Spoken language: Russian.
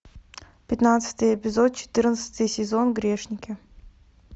пятнадцатый эпизод четырнадцатый сезон грешники